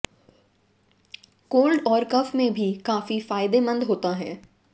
cold और cough में भी ये काफी फायदेमंद होता है